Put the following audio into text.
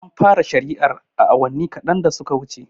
An fara shari'ar awanni kaɗan da suka wuce